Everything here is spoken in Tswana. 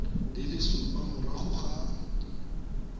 di le supa morago ga